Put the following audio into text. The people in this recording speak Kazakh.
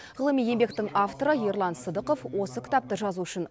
ғылыми еңбектің авторы ерлан сыдықов осы кітапты жазу үшін